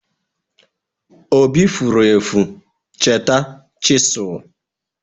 Obi furu efu cheta chisel.